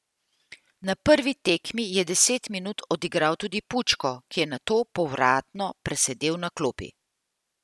Na prvi tekmi je deset minut odigral tudi Pučko, ki je nato povratno presedel na klopi.